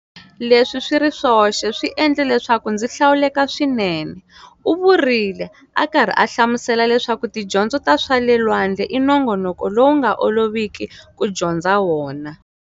Leswi swi ri swoxe swiendle leswaku ndzi hlawuleka swinene, u vurile, a karhi a hlamusela leswaku tidyondzo ta swa le lwandle i nongonoko lowu nga oloviki ku dyondza wona.